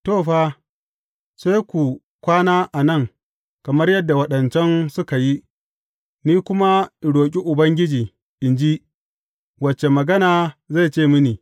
To, fa, sai ku kwana a nan kamar yadda waɗancan suka yi, ni kuma in roƙi Ubangiji, in ji, wace magana zai ce mini.